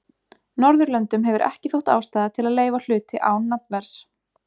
Norðurlöndum hefur ekki þótt ástæða til þess að leyfa hluti án nafnverðs.